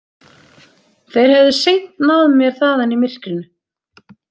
Þeir hefðu seint náð mér þaðan í myrkrinu.